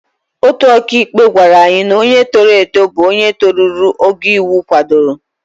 Otu ọkàikpe gwara anyị na onye toro eto bụ onye toruru ogo iwu kwadoro.